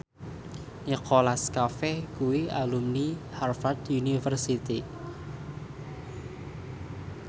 Nicholas Cafe kuwi alumni Harvard university